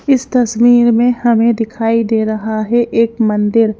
इस तस्वीर में हमें दिखाई दे रहा है एक मंदिर--